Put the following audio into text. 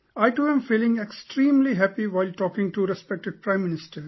I too am feeling extremely happy while talking to respected Prime Minister